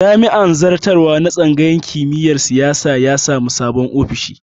Jami'in zartarwa na tsangayar kimiyar siyasa ya sami sabon ofishi